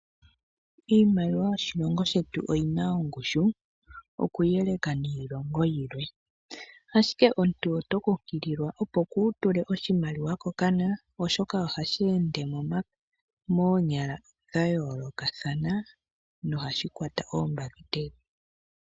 Iimaliwa yoshilongo shetu oyina oongushu okuyeleka niilongo yilwe ,ashike omuntu oto kunkililwa opo kutule oshimaliwa kokana oshoka oha shi ende monyala dhayolokathana na ohashikwata oombakiteli.